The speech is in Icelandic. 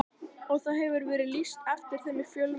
Og það hefur verið lýst eftir þeim í fjölmiðlum.